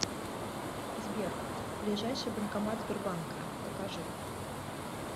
сбер ближайший банкомат сбербанка покажи